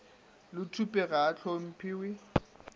le thupe ga a hlomphiwe